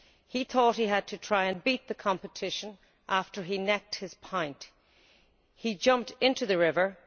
He thought he had to try and beat the competition and after he necked his pint he jumped into the river.